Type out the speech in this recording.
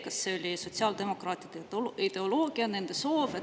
Kas see oli sotsiaaldemokraatide ideoloogia, nende soov?